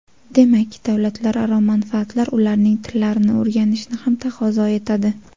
Demak, davlatlararo manfaatlar ularning tillarini o‘rganishni ham taqozo etadi.